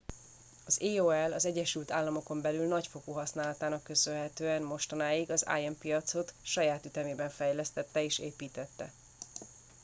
az aol az egyesült államokon belüli nagyfokú használatának köszönhetően mostanáig az im piacot saját ütemében fejlesztette és építette